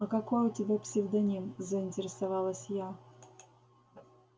а какой у тебя псевдоним заинтересовалась я